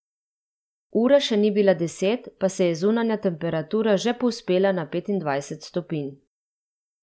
Ura še ni bila deset, pa se je zunanja temperatura že povzpela nad petindvajset stopinj.